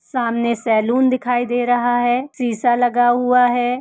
सामने सैलून दिखाई दे रहा है। शीशा लगा हुआ है।